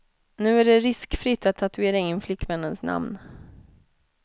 Nu är det riskfritt att tatuera in flickvännens namn.